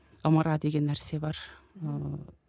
ымыра деген нәрсе бар ыыы